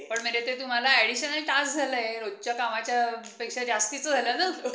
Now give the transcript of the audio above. अं सोमवारी जास्त गर्दी असते.